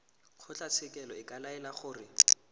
kgotlatshekelo e ka laela gore